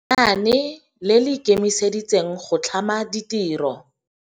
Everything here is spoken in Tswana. Lenaane le le ikemiseditse go tlhama ditiro.